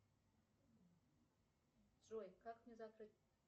джой как мне закрыть